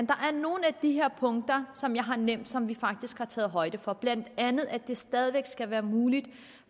der er nogle af de her punkter som jeg har nævnt som vi faktisk har taget har højde for blandt andet at det stadig væk skal være muligt